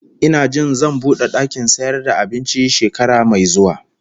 Ina jin zan bude dakin sayar da abinci shekara mai zuwa